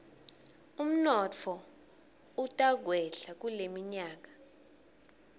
umnotfo utakwehla kuleminyaka